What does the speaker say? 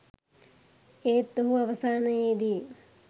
ඒත් ඔහු අවසානයේදී